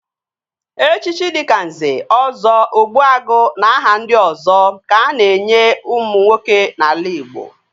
Echichi dịka Nze, Ọzọ, Ogbuagu na aha ndị ọzọ ka a na-enye ụmụ nwoke n'ala Ịgbo